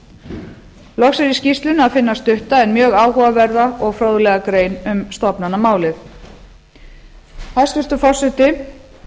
loks er í skýrslunni að finna stutta en mjög áhugaverða og fróðlega grein um stofnanamálið hæstvirtur forseti